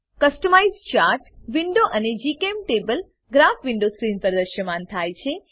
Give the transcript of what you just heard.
customise chart window અને જીચેમ્ટેબલ graph window screen પર દ્રશ્યમાન થાય છે